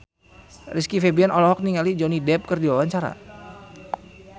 Rizky Febian olohok ningali Johnny Depp keur diwawancara